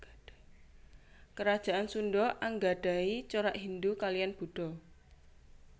Kerajaan Sunda anggadhahi corak Hindhu kaliyan Buddha